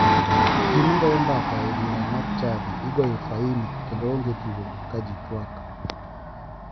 Ji magoyo mbaka e bura mar chadi igoyo faini kendo onge tugo ka ji tuak